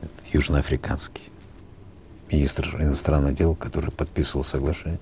этот южноафриканский министр иностранных дел который подписывал соглашение